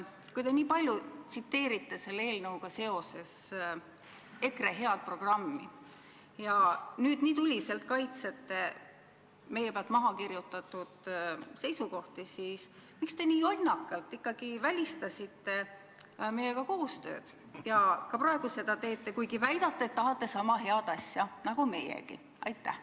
Kui te nii palju tsiteerite selle eelnõuga seoses EKRE head programmi ja nüüd nii tuliselt kaitsete meie pealt mahakirjutatud seisukohti, siis miks te nii jonnakalt ikkagi välistasite meiega koostöö ja ka praegu seda teete, kuigi väidate, et tahate sama head asja nagu meiegi?